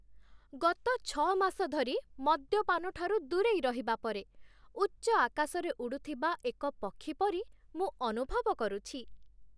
ଗତ ଛଅ ମାସ ଧରି ମଦ୍ୟପାନ ଠାରୁ ଦୂରେଇ ରହିବା ପରେ, ଉଚ୍ଚ ଆକାଶରେ ଉଡ଼ୁଥିବା ଏକ ପକ୍ଷୀ ପରି ମୁଁ ଅନୁଭବ କରୁଛି।